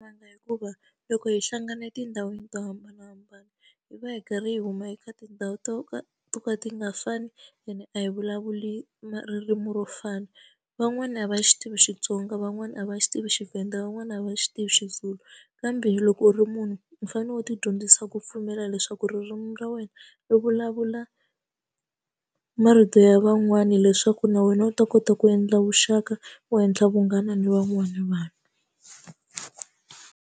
Hikuva loko hi hlangana etindhawini to hambanahambana hi va hi karhi hi huma eka tindhawu to ka ti ka ti nga fani ene a hi vulavuli ma ririmi ro fana van'wani a va xi tivi Xitsonga van'wani a va xi tivi xiVenda van'wani a va xi tivi xiZulu kambe loko u ri munhu u fanele u ti dyondzisa ku pfumela leswaku ririmi ra wena u vulavula marito ya van'wani leswaku na wena u ta kota ku endla vuxaka wo henhla vunghana ni van'wana vanhu.